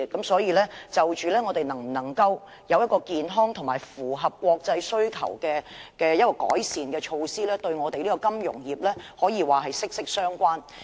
所以，我們能否有健康及符合國際要求的改善措施，與金融業可說是息息相關的。